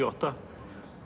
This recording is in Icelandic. og átta